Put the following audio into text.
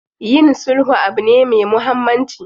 Yin sulhu abu ne me muhammanci.